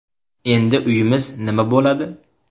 Endi uyimiz nima bo‘ladi?